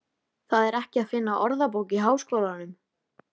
Það er ekki að finna í Orðabók Háskólans.